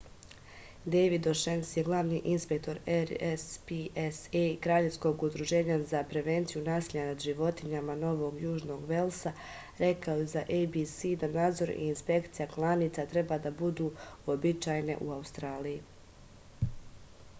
дејвид ошенеси главни инспектор rspca краљевског удружења за превенцију насиља над животињама новог јужног велса рекао је за abc да надзор и инспекција кланица треба да буду уобичајене у аустралији